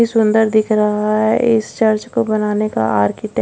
इ सुंदर दिख रहा है इस चर्च को बनाने का आर्किटेक्ट --